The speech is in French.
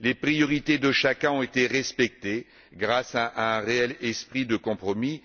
Les priorités de chacun ont été respectées grâce à un réel esprit de compromis.